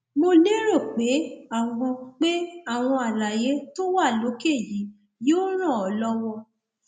mo lérò pé àwọn pé àwọn àlàyé tó wà lókè yìí yóò ràn ọ lọwọ